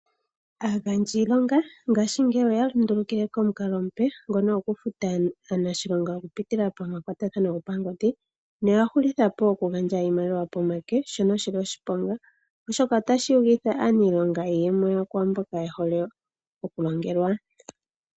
Aagandji yiilonga ngaashingeyi oya lundulukile komukalo omupe ngono gokufuta aanashilonga okupitila pamakwatathano gopangodhi noya hulitha po okugandja iimaliwa pomake, shoka sha nika oshiponga, oshoka otashi yugitha aaniilonga iiyemo yawo kwaa mboka ye hole okulongelwa.